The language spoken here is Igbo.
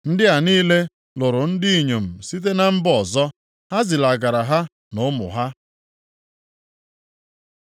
Ndị a niile lụrụ ndị inyom site na mba ọzọ. Ha zilagara ha na ụmụ ha.